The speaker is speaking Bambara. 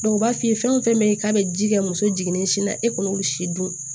u b'a f'i ye fɛn fɛn bɛ ye k'a bɛ ji kɛ muso jiginnen sin na e kɔni si dun